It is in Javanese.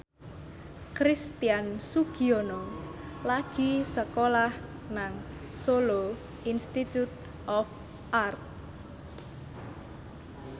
Christian Sugiono lagi sekolah nang Solo Institute of Art